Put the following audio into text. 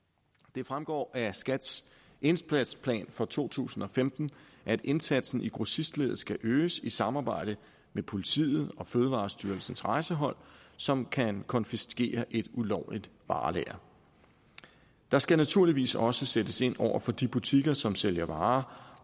det fremgår af skats indsatsplan for to tusind og femten at indsatsen i grossistleddet skal øges i samarbejde med politiet og fødevarestyrelsens rejsehold som kan konfiskere et ulovligt varelager der skal naturligvis også sættes ind over for de butikker som sælger varer